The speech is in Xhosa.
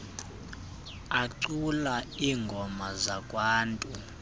acula iingoma zakwantu